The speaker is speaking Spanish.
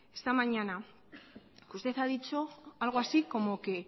esta mañana que usted ha dicho algo así como que